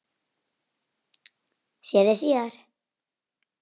Sé þig síðar.